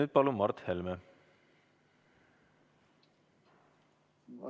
Ja palun, Mart Helme!